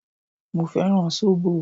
Mo fẹ́ràn sóbò.